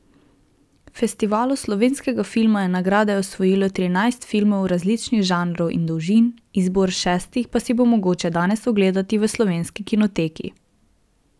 Festivalu slovenskega filma je nagrade osvojilo trinajst filmov različnih žanrov in dolžin, izbor šestih pa si bo mogoče danes ogledati v Slovenski kinoteki.